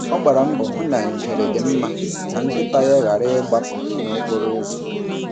Ọ gbara mbọ hụ na ngere dị mma ka nkịta ya ghara ịgbapụ n’okporo ụzọ.